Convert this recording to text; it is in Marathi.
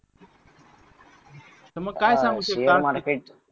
तर मग काय सांगू शकता